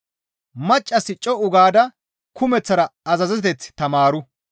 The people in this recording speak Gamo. Maccassi co7u gaada kumeththara azazeteth tamaaru.